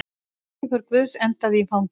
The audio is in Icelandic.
Sendiför guðs endaði í fangelsi